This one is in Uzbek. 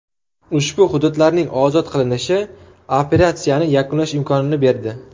Ushbu hududlarning ozod qilinishi operatsiyani yakunlash imkonini berdi.